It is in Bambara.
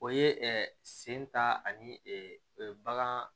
O ye sen ta ani bagan